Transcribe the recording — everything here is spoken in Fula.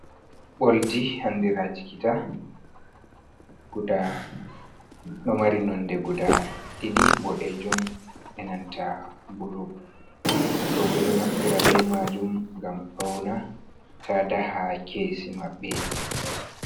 Oldi andiraa jigidaa ɗo mari nonde gudaa ɗiɗi bodeejum enanta bulu, rooɓe ɗo naftira bee maajum ngam fawna taada haa keesi maɓɓe.